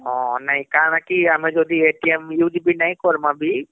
ହଁ ନା କା ଣ କି ଆମେ ଯଦି use ବି ନାଇଁ କରମା ବି